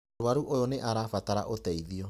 Mũrũaru oyũ nĩ arabatara ũteithio.